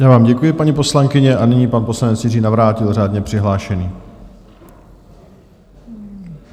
Já vám děkuji, paní poslankyně, a nyní pan poslanec Jiří Navrátil, řádně přihlášený.